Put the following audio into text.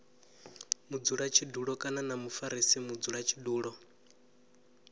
mudzulatshidulo kana na mufarisa mudzulatshidulo